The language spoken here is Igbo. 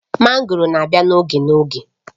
Mango na-abịa n'oge n'oge